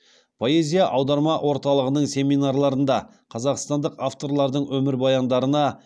поэзия аударма орталығының семинарларында қазақстандық авторлардың өмірбаяндарына